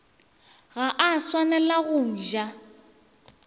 ga a swanela go ja